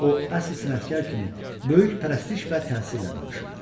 O əsl sənətkar kimi böyük pərəstiş və təsirlə danışırdı.